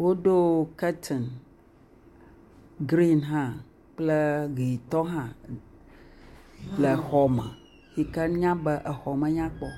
Wodo kurtin gren hã le exɔa me kple ʋi tɔ hã, yike na be exɔme nyakpɔ.